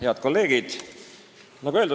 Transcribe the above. Head kolleegid!